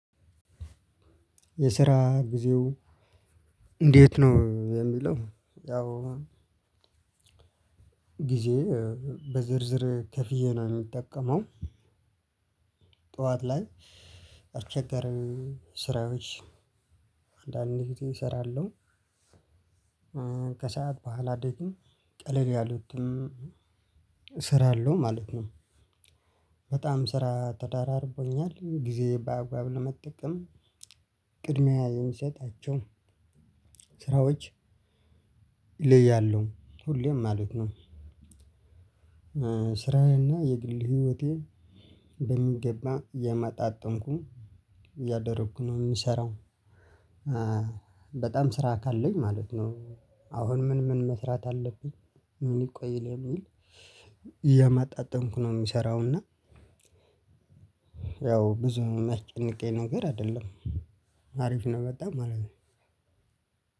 የስራ ጊዜው እንዴት ነው የሚለው? ያው ጊዜ በዝርዝር ከፍዬ ነው የሚጠቀመው። ጠዋት ላይ አልቸገርም ስራዎች አንዳንዴ ጊዜ እሰራለሁ። ከሰአት በኋላ ደግሞ ቀለል ያሉትም እሰራለሁ ማለት ነው። በጣም ስራ ተዳራርቦኛል ጊዜ ባግባብ ለመጠቀም ቅድሚያ የምሰጣቸው ስራዎች ይለያሉ ሁሌም ማለት ነው። ስራዬና የግል ህይወቴ በሚገባ የመጣጠምኩኝ እያደረኩ ነው የምሰራው። በጣም ስራ ካለኝ ማለት ነው። አሁን ምን ምን መስራት አለብኝ። ምን ይቆይ በሚል እያማጣጠምኩ ነው የሚሰራው እና። ያው ብዙ የሚያስጨንቀኝ ነገር አይደለም። አሪፍ ነው የመጣው ማለት ነው።